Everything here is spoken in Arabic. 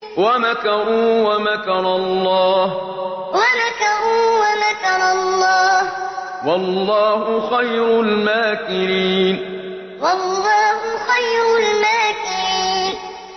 وَمَكَرُوا وَمَكَرَ اللَّهُ ۖ وَاللَّهُ خَيْرُ الْمَاكِرِينَ وَمَكَرُوا وَمَكَرَ اللَّهُ ۖ وَاللَّهُ خَيْرُ الْمَاكِرِينَ